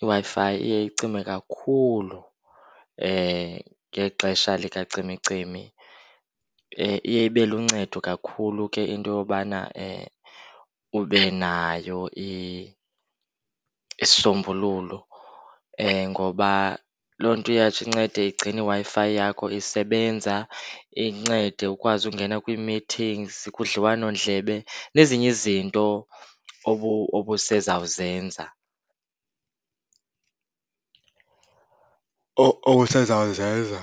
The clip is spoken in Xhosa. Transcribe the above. IWi-Fi iye icime kakhulu ngexesha likacimicimi. Iye ibe luncedo kakhulu ke into yobana ube nayo isisombululo, ngoba loo nto iyatsho incede igcine iWi-Fi yakho isebenza. Incede ukwazi ukungena kwi-meetings, kudliwanondlebe nezinye izinto obusezawuzenza, obusezawuzenza